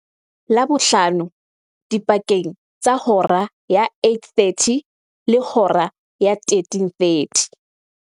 Labohlano dipakeng tsa hora ya 08:30 le hora ya 13:30.